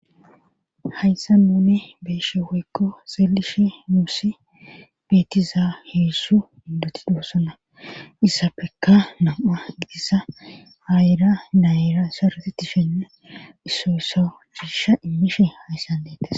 Hayssa nune beeshe woykko xeelishe muusi beetiza heessu ibatidossona issappekka nam7a gidhissa aayira dayira saretetishene issoysso hhiisha immishe hayssan leetes.